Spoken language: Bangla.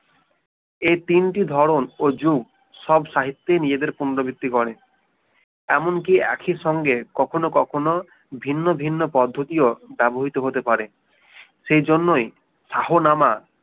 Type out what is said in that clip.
এই তিনটি ধরন ওই যুগ সব সাহিত্যে নিজেদের ছন্দবৃত্তি করে এমনকি একই সঙ্গে কখনো কখনো ভিন্ন ভিন্ন পদ্ধতিও ব্যবহৃত হতে পারে সে জন্যই শাহ নামা